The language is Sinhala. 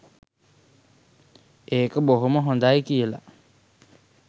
ඒක බොහොම හොඳයි කියලා.